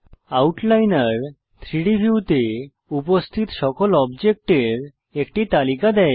outliner 3ডি ভিউতে উপস্থিত সকল অবজেক্ট এর একটি তালিকা দেয়